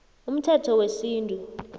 umthetho wesintu